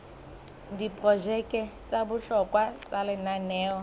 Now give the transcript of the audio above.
diprojeke tsa bohlokwa tsa lenaneo